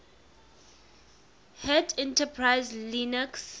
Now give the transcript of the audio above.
hat enterprise linux